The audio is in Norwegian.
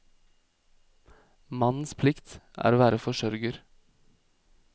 Mannens plikt er å være forsørger.